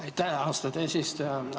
Aitäh, austatud eesistuja!